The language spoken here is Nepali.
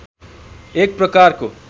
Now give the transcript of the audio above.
एक प्रकारको